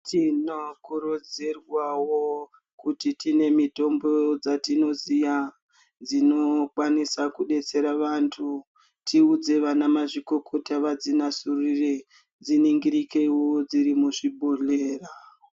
Tinokurudzirwawo kuti tine mitombo dzatinoziva dzinokwanisa kudetsera vantu kuvhunza ana mazvikokota zbinodzurira dziningirekewo dziri muzvibhohleya.